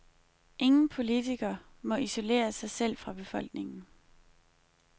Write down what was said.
Ingen politiker må isolere sig selv fra befolkningen.